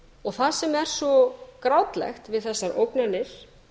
og það sem er svo grátlegt við þessar ógnanir